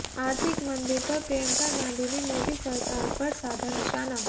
आर्थिक मंदी पर प्रियंका गांधी ने मोदी सरकार पर साधा निशाना